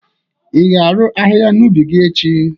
ị ga-arụ ahịhịa n'ubi gị echi?